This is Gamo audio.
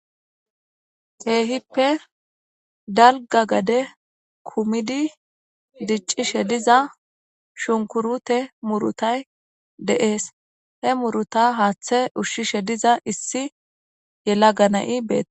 teehippe dalga gade kumidi diccishe diza shunkurute murutay deees he muruta haaththe ushshishe diza issi yela gana7i beet